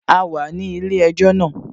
A wà ní ilé-ẹjọ́ náà